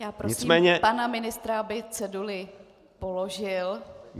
Já poprosím pana ministra, aby ceduli položil.